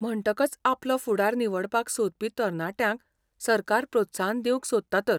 म्हणटकच आपलो फुडार निवडपाक सोदपी तरणाट्यांक सरकार प्रोत्साहन दिवंक सोदता तर.